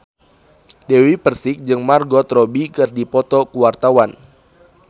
Dewi Persik jeung Margot Robbie keur dipoto ku wartawan